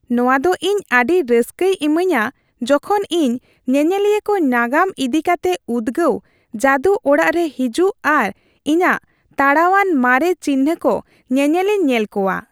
ᱱᱚᱶᱟ ᱫᱚ ᱤᱧ ᱟᱹᱰᱤ ᱨᱟᱹᱥᱠᱟᱹᱭ ᱤᱢᱟᱹᱧᱟ ᱡᱚᱠᱷᱚᱱ ᱤᱧ ᱧᱮᱧᱮᱞᱤᱭᱟᱹ ᱠᱚ ᱱᱟᱜᱟᱢ ᱤᱫᱤ ᱠᱟᱛᱮ ᱩᱫᱜᱟᱹᱣ , ᱡᱟᱹᱫᱩ ᱚᱲᱟᱜ ᱨᱮ ᱦᱤᱡᱩᱜ ᱟᱨ ᱤᱧᱟᱹᱜ ᱛᱟᱲᱟᱣᱟᱱ ᱢᱟᱨᱮ ᱱᱪᱤᱱᱦᱟᱹ ᱠᱚ ᱧᱮᱧᱮᱞᱤᱧ ᱧᱮᱞ ᱠᱚᱣᱟ ᱾